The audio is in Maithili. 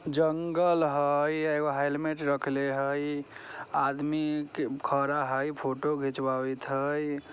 जंगल हई एगो हेलमेट रखले हई आदमी क खरा हई फोटो खिचवावित हई।